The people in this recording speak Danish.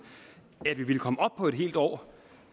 at vi ville komme op på et helt år